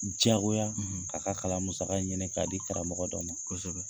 K'u Jagoya k'a ka kalan musaga ɲinin k'a di karamɔgɔ dɔ ma, kosɛbɛ.